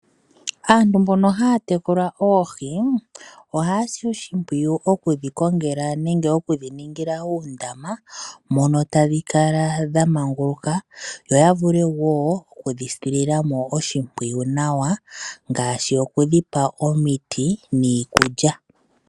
Aantu mbono haya tekula oohi ohaya si oshimpwiyu okudhi kongela nenge okudhi ningila uundama mono tadhi kala dha manguluka yo ya vule wo okudhi silila mo oshimpwiyu nawa ngaashi okudhi pa omiti niikulya.